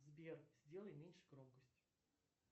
сбер сделай меньше громкость